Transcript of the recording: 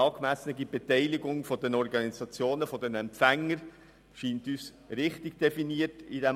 Eine angemessene Beteiligung der Organisationen als Empfänger scheint uns in diesem Artikel richtig definiert zu sein.